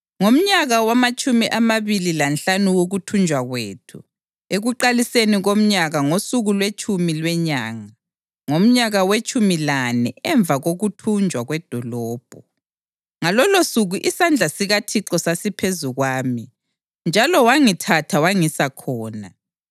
Ngomnyaka wamatshumi amabili lanhlanu wokuthunjwa kwethu, ekuqaliseni komnyaka, ngosuku lwetshumi lwenyanga, ngomnyaka wetshumi lane emva kokuthunjwa kwedolobho, ngalolosuku isandla sikaThixo sasiphezu kwami njalo wangithatha wangisa khona.